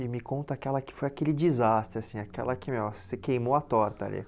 E me conta aquela que foi aquele desastre, assim, aquela que nossa você queimou a torta ali.